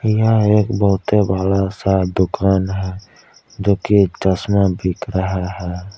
यह एक बहुतइ बड़ा सा दुकान है जोकि एक चश्मा बिक रहा है।